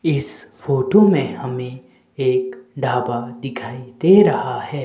इस फोटू में हमें एक ढाबा दिखाई दे रहा हैं।